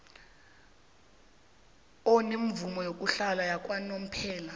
onemvumo yokuhlala yakanomphela